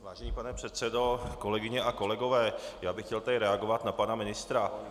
Vážený pane předsedo, kolegyně a kolegové, já bych chtěl tady reagovat na pana ministra.